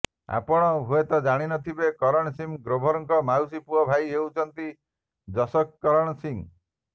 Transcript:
ଆପଣ ହୁଏତ ଜାଣିନଥିବେ କରଣ ସିଂ ଗ୍ରୋଭରଙ୍କ ମାଉସୀ ପୁଅ ଭାଇ ହେଉଛନ୍ତି ଜସକରଣ ସିଂ